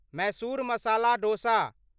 Mysore masala dosa